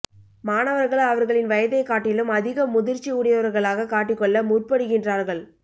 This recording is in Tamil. மாணவர்கள் அவர்களின் வயதைக் காட்டிலும் அதிக முதிர்ச்சி உடையவர்களாக காட்டிக் கொள்ள முற்படுகின்றார்கள்